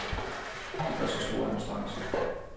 De gør sig store anstrengelser.